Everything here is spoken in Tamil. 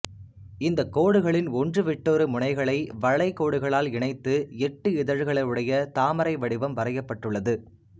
இந்தக் கோடுகளின் ஒன்றுவிட்டொரு முனைகளை வளை கோடுகளால் இணைத்து எட்டு இதழ்களுடைய தாமரை வடிவம் வரையப்பட்டுள்ளது